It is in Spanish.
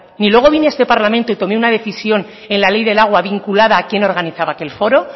ni luego vine a este parlamento y tomé una decisión en la ley del agua vinculada a quién organizaba aquel foro